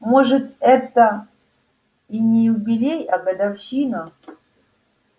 может это и не юбилей а годовщина